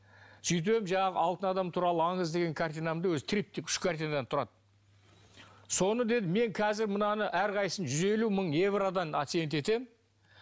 жаңағы алтын адам туралы аңыз деген картинамды өзі триптих үш картинадан тұрады соны деді мен қазір мынаны әрқайсысын жүз елу мың евродан оценить етемін